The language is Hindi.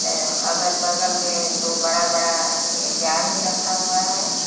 अह अगल बगल में दो बड़ा बड़ा ये जार भी रखा हुआ है।